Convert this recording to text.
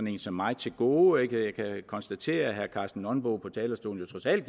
en som mig til gode jeg kan konstatere at herre karsten nonbo på talerstolen jo trods alt